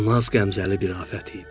o nazqəmzəli bir afət idi.